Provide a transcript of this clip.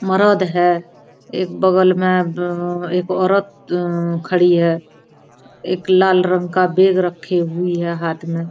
मरद है एक बगल में ब-ब एक औरत उम खड़ी है एक लाल रंग का बैग रखी हुई है हाथ में।